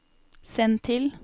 send til